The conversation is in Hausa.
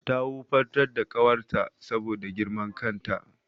Ta wufantar da ƙawarta saboda girman kan ta.